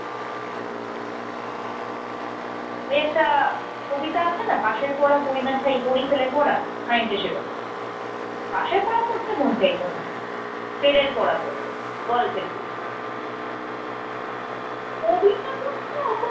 একটা কবিতা আছে না, ‘পাশের পড়া পড়ি না ছাই, পড়ি ফেলের পড়া‘ খানিকটা সেরকম। পাশের পড়া পড়তে মন চাইত না, ফেলের পড়া পড়ব, গল্পের বই। কবিতা পড়তে অত